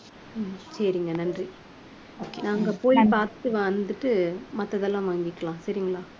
சரிங்க நன்றி okay நாங்க போய் பார்த்து வந்துட்டு மத்ததெல்லாம் வாங்கிக்கலாம் சரிங்களா